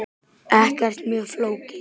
Ekkert mjög flókið.